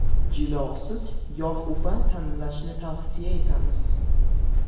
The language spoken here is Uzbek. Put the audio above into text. Jilosiz yog‘upa tanlashni tavsiya etamiz.